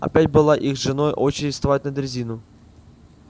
опять была их с женой очередь вставать на дрезину